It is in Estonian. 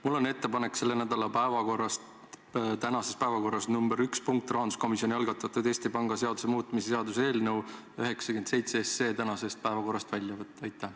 Mul on ettepanek tänasest päevakorrast punkt nr 1, rahanduskomisjoni algatatud Eesti Panga seaduse muutmise seaduse eelnõu välja võtta.